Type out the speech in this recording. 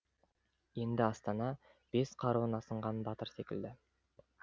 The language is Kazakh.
енді астана бес қаруын асынған батыр секілді